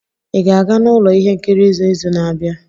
Ị ga-aga n'ụlọ ihe nkiri n'izu na-abịa?